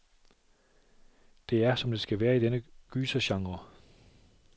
Det er, som det skal være i denne gysergenre.